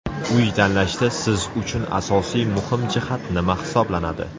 Uy tanlashda siz uchun asosiy muhim jihat nima hisoblanadi?